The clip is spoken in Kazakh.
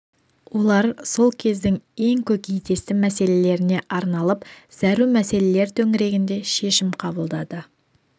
олар сол кездің ең көкейтесті мәселелеріне арналып зәру мәселелер төңірегінде шешім қабылдады